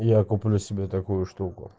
я куплю себе такую штуку